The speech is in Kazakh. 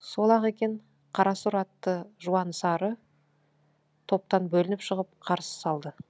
сол ақ екен қарасұр атты жуан сары топтан бөлініп шығып қарсы салды